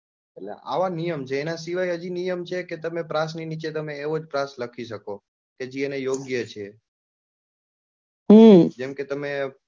એટલે અવ નિયમ છે એના સિવાય હજી નિયમ છે કે તમે પ્રાસ ની નીચે તમે એવું જ પ્રાસ લખી શકો કે જે એને યોગ્ય છે જેમ કે તમે,